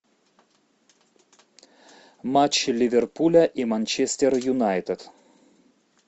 матч ливерпуля и манчестер юнайтед